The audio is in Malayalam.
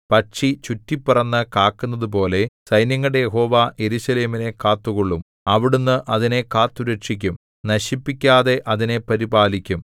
പക്ഷി ചുറ്റിപ്പറന്നു കാക്കുന്നതുപോലെ സൈന്യങ്ങളുടെ യഹോവ യെരൂശലേമിനെ കാത്തുകൊള്ളും അവിടുന്ന് അതിനെ കാത്തുരക്ഷിക്കും നശിപ്പിക്കാതെ അതിനെ പരിപാലിക്കും